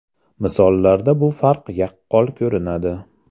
Misollarda bu farq yaqqol ko‘rinadi.